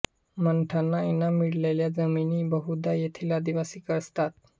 मठांना इनाम मिळालेल्या जमिनी बहुधा येथील आदिवासी कसतात